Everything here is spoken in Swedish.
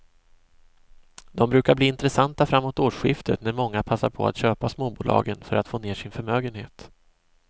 De brukar bli intressanta framåt årsskiftet när många passar på att köpa småbolagen för att få ner sin förmögenhet.